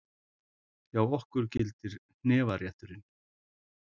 Hjá okkur gildir hnefarétturinn!